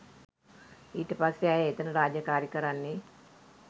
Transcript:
ඊට පස්සෙ ඇය එතන රාජකාරී කරන්නේ